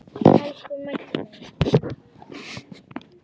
Elsku Maggi minn.